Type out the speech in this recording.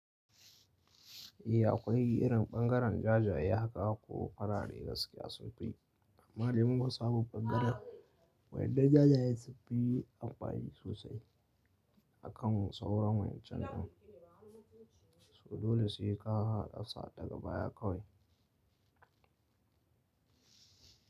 Eh akwai irin ɓangaren jajaye haka ko farare gaskiya sun fi amma dai mun fi samun bangaren waƴannan jajaye sunfi amfani sosai akan sauran waƴancan din, su dole sai ka haɗa sa daga baya kawai.